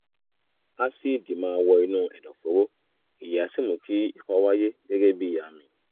ásíìdì máa wọ inú ẹ̀dọ̀fóró èyí á sì mú kí ikọ́ wáyé gẹ́gẹ́ bíi àmì